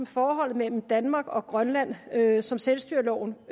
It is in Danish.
forholdet mellem danmark og grønland som selvstyreloven